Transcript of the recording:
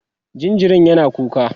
jinjirin yana kuka